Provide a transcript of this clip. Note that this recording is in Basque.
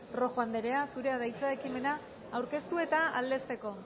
rojo andrea zurea da hitza ekimena aurkeztu eta aldezteko